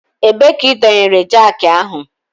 Ebee ka ị dọnyere jakị ahụ?